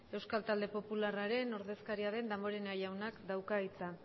euskal talde popularraren ordezkariaren damborenea jaunak dauka hitza